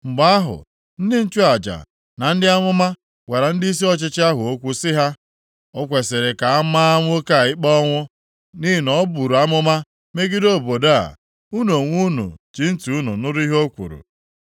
Mgbe ahụ, ndị nchụaja na ndị amụma gwara ndịisi ọchịchị ahụ okwu sị ha: “O kwesiri ka a maa nwoke a ikpe ọnwụ, nʼihi na o buru amụma megide obodo a. Unu onwe unu ji ntị unu nụrụ ihe o kwuru.”